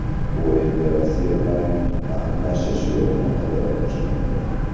U endi Rossiya bilan yaqinlashish yo‘lini qidira boshlaydi.